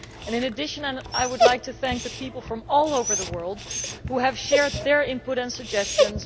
In addition, I would like to thank the people from all over the world who have shared their input and suggestions.